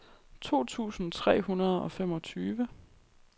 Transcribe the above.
to tusind tre hundrede og femogtyve